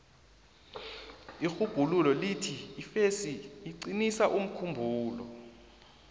irhubhululo lithi ifesi iqinisa umkhumbulo